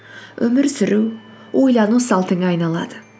өмір сүру ойлану салтыңа айналады